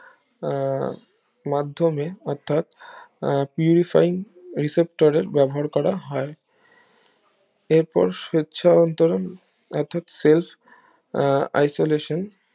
আহ মাধ্যমে অর্থাৎ আহ পিউরিফাইনিং রিসেপ্টরের ব্যবহার করা হয় এর পর স্বেচ্ছা অন্তরণ অর্থাৎ সেলফ আহ isolation